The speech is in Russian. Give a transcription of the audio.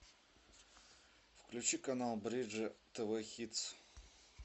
включи канал бридж тв хит